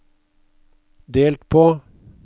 delt på